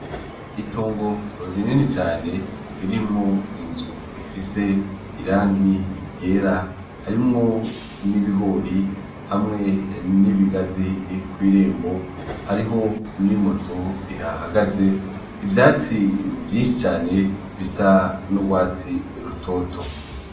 Itongo rinini cane ririmwo inzu rifise irangi ryera harimwo n'ibigori hamwe n'ibigazi kw'irembo hariho n'imoto ihahagaze, ivyatsi vyinshi cane bisa n'urwatsi rutoto.